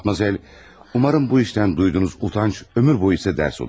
Madmazel, ümid edirəm ki, bu işdən duyduğunuz utanc ömür boyu sizə dərs olar.